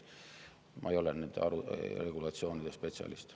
Ma ei ole nende regulatsioonide spetsialist.